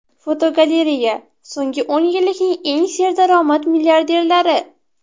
Fotogalereya: So‘nggi o‘n yillikning eng serdaromad milliarderlari.